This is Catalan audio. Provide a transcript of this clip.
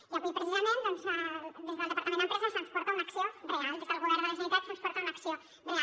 i avui precisament doncs des del departament d’empresa se’ns porta una acció real des del govern de la generalitat se’ns porta una acció real